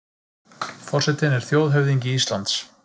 Forsetinn er þjóðhöfðingi Íslands.